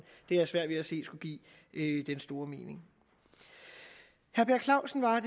har jeg svært ved at se skulle give den store mening herre per clausen var